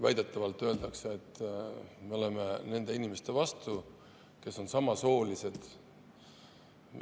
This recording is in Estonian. Väidetavalt öeldakse, et me oleme nende inimeste vastu, kes on samasoolises.